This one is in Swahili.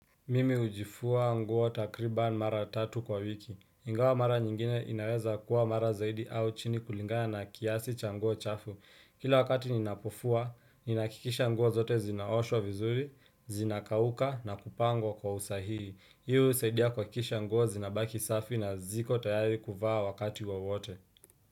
Mimi ujifua nguo takriban mara tatu kwa wiki. Ingawa mara nyingine inaweza kuwa mara zaidi au chini kulingana na kiasi cha nguo chafu. Kila wakati ninapofua, ninakikisha nguo zote zinaoshwa vizuri, zinakauka na kupangwo kwa usahii. Hiu usaidia kuhakikisha nguo zinabaki safi na ziko tayari kuvaa wakati wa wote.